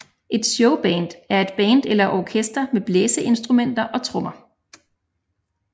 Et Showband er et band eller orkester med blæseinstrumenter og trommer